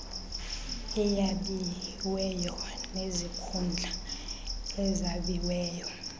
eyabiweyo nezikhundla ezabiweyo